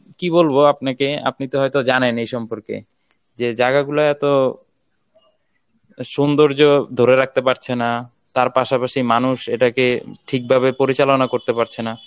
কি বলবো আপনাকে আপনি তো হয়তো জানেন এ সম্পর্কে যে জায়গা গুলো এত সৌন্দর্য ধরে রাখতে পারছে না তার পাশাপাশি মানুষ এটাকে ঠিকভাবে পরিচালনা করতে পারছে না